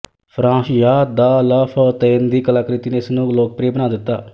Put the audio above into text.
France Jean de La Fontaine ਦੀ ਕਲਾਕ੍ਰਿਤੀ ਨੇ ਇਸਨੂੰ ਲੋਕਪ੍ਰਿਯ ਬਣਾ ਦਿਤਾ